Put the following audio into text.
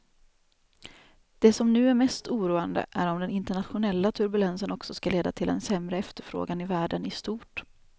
Det som nu är mest oroande är om den internationella turbulensen också ska leda till en sämre efterfrågan i världen i stort.